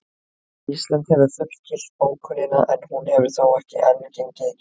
Ísland hefur fullgilt bókunina en hún hefur þó ekki enn gengið í gildi.